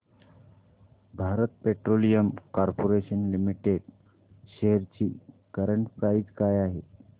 Bharat petroleum corporation limited shares ची current price काय आहे